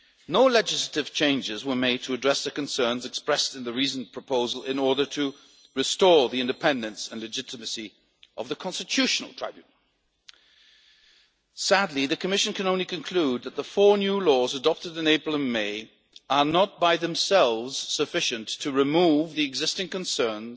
law'. No legislative changes were made to address the concerns expressed in the recent proposal in order to restore the independence and legitimacy of the Constitutional Tribunal. Sadly, the Commission can only conclude that the four new laws adopted in April and May are not by themselves sufficient to remove the existing